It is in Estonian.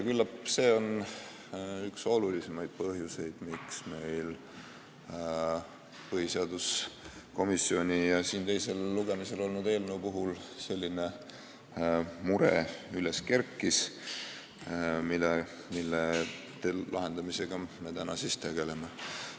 Küllap on see üks olulisemaid põhjuseid, miks meil põhiseaduskomisjonis ja siin teisel lugemisel olnud eelnõu puhul kerkis üles mure, mille lahendamisega me täna tegeleme.